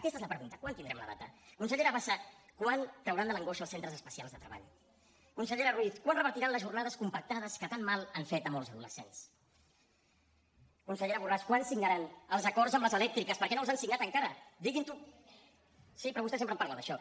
aquesta és la pregunta quan tindrem la data consellera bassa quan trauran de l’angoixa els centres especials de treball consellera ruiz quan revertiran les jornades compactades que tan mal han fet a molts adolescents consellera borràs quan signaran els acords amb les elèctriques per què no els han signat encara digui’ns ho sí però vostè sempre en parla d’això